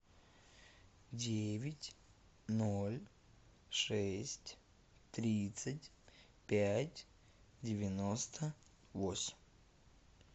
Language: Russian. девять ноль шесть тридцать пять девяносто восемь